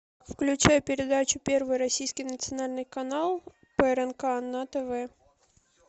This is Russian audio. включай передачу первый российский национальный канал прнк на тв